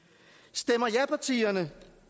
stemmer japartierne